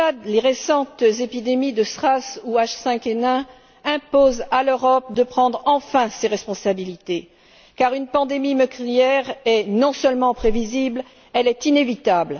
Les récentes épidémies de SRAS ou H5N1 imposent à l'Europe de prendre enfin ses responsabilités car une pandémie meurtrière est non seulement prévisible, elle est inévitable.